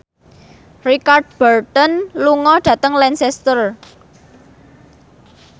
Richard Burton lunga dhateng Lancaster